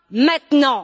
Maintenant!